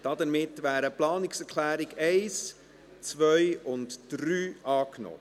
Damit wären die Planungserklärungen 1, 2 und 3 angenommen.